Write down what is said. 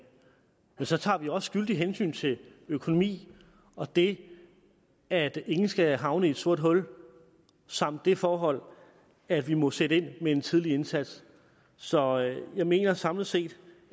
men så tager vi også skyldig hensyn til økonomi og det at ingen skal havne i et sort hul samt det forhold at vi må sætte ind med en tidlig indsats så jeg mener samlet set